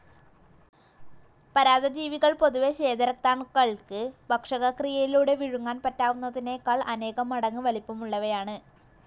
പരാദജീവികൾ പൊതുവേ സ്വേതരക്താണുക്കൾക്ക് ഭക്ഷകക്രിയയിലൂടെ വിഴുങ്ങാൻ പറ്റാവുന്നതിനെക്കാൾ അനേകമടങ്ങ് വലിപ്പമുള്ളവയാണ്.